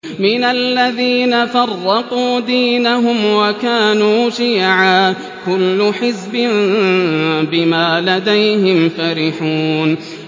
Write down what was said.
مِنَ الَّذِينَ فَرَّقُوا دِينَهُمْ وَكَانُوا شِيَعًا ۖ كُلُّ حِزْبٍ بِمَا لَدَيْهِمْ فَرِحُونَ